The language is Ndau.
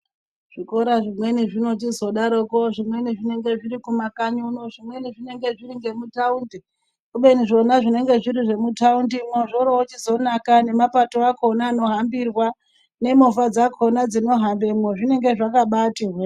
Zvikora zvimweni zvinochizo daro poo zvimweni zvinenge zviri kumakanyi uno zvimweni zvinenge zviri ngemutaundi kubeni zvona zvinenge zviri zvemutaundi mwoo zvorichozonaka nemapato akona anohambirwa nemovha dzakona dzinohambemwo zvinenge zvakambaiti hwee.